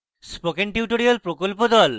spoken tutorial প্রকল্প the